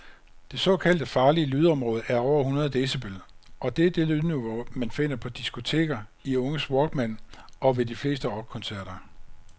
Det såkaldte farlige lydområde er over hundrede decibel, og er det lydniveau man finder på diskoteker, i unges walkman og ved de fleste rockkoncerter.